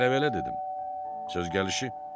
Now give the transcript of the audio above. Hələ belə dedim, söz gəlişi.